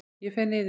Ég fer niður.